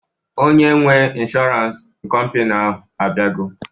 Onye nwee ịnshọransị kọmpini ahụ abịago